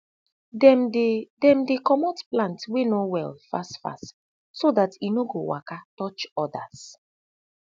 dem dey dem dey comot plant wey no well fast fast so dat e no go waka touch odas